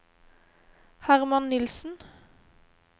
Hermann Nilssen